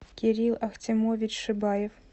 кирилл ахтямович шибаев